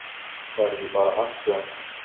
Það er ekki bara hann sem!